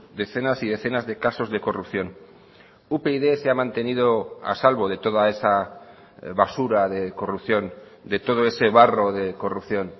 decenas y decenas de casos de corrupción upyd se ha mantenido a salvo de toda esa basura de corrupción de todo ese barro de corrupción